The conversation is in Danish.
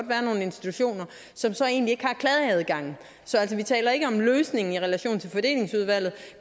være nogle institutioner som så egentlig ikke har klageadgang så vi taler ikke om løsning i relation til fordelingsudvalget